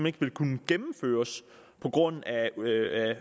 ikke vil kunne gennemføres på grund